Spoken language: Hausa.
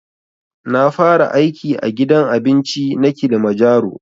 Na fara aiki a gidan abinci na kilimajaro